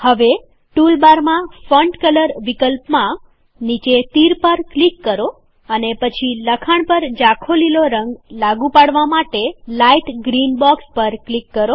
હવે ટૂલબારમાં font colour વિકલ્પમાં નીચે તીર પર ક્લિક કરો અને પછી લખાણ પર જાખો લીલો રંગ લાગુ પાડવા માટે લાઈટ ગ્રીન બોક્સ પર ક્લિક કરો